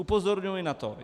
Upozorňuji na to.